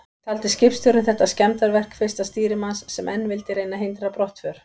Taldi skipstjórinn þetta skemmdarverk fyrsta stýrimanns, sem enn vildi reyna að hindra brottför.